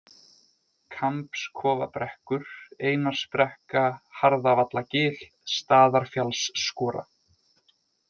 Kambskofabrekkur, Einarsbrekka, Harðavallagil, Staðarfjallsskora